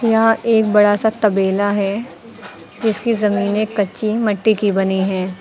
यह एक बड़ा सा तबेला है जिसकी जमीनें कच्छी मट्टी की बनी है।